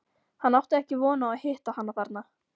Hann átti ekki von á að hitta hana þarna.